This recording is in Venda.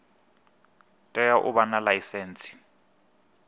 tea u vha na ḽaisentsi